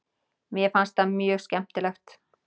Mér fannst það mjög skemmtilegt.